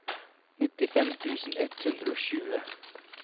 nittifem tusen ett hundre og tjue